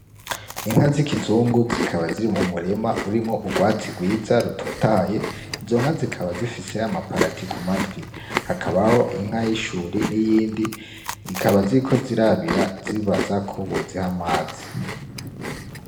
Inka z'ikizungu zikaba ziri mu murima urimwo ugwatsi rwiza rutotahaye izo nka zikaba zifise yama parati ku matwi hakabaho inka y' ishuri n' iyindi, zikaba ziriko zirabira zibaza ko boziha amazi.